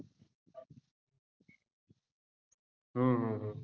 हो हो हो